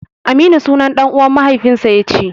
Aminu sunan ɗan'uwan mahaifinsa ya ci.